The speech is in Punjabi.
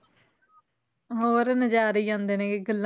ਹੋਰ ਨਜ਼ਾਰੇ ਹੀ ਆਉਂਦੇ ਨੇਗੇ ਗੱਲਾਂ,